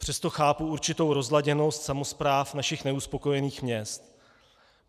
Přesto chápu určitou rozladěnost samospráv našich neuspokojených měst.